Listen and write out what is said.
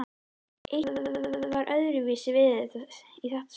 Eitthvað var öðruvísi í þetta sinn.